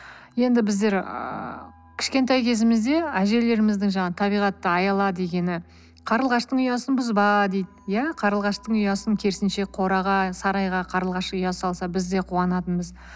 енді біздер ыыы кішкентай кезімізде әжелеріміздің жаңағы табиғатты аяла дегені қарлығаштың ұясын бұзба дейді ия қарлығаштың ұясын керісінше қораға сарайға қарлығаш ұя салса біз де қуанатынбыз